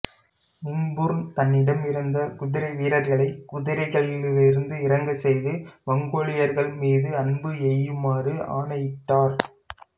மிங்புர்னு தன்னிடமிருந்த குதிரை வீரர்களை குதிரைகளிலிருந்து இறங்கச் செய்து மங்கோலியர்கள் மீது அம்பு எய்யுமாறு ஆணையிட்டார்